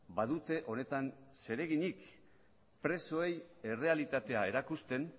badute honetan zereginik presoei errealitatea erakusten